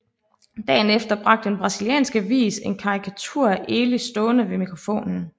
Dagen efter bragte en brasiliansk avis en karikatur af Elis stående ved mikrofonen